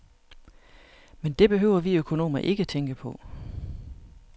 Men det behøver vi økonomer ikke tænke på.